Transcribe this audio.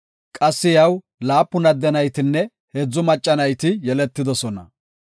Qassi iyaw laapun adde naytinne heedzu macca nayti yeletidosona.